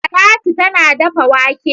Talatu tana dafa wake.